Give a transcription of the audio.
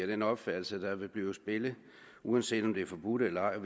den opfattelse at der vil blive spillet uanset om det er forbudt eller ej og